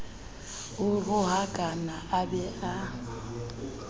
a rohakane a be a